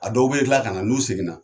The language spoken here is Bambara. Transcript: A dɔw bɛ kila ka na n'u seginna.